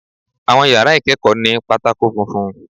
Àwọn yàrá ìkẹ́kọ̀ọ́ ní pátákó funfun.